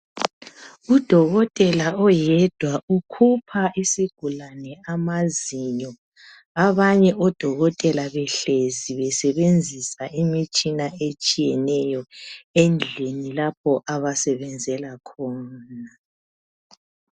Udokotela oyedwa ukhupha isigulane amazinyo. Abanye odokotela behlezi basebenzisa imitshina etshiyeneyo endlini lapho abasebenzela khona.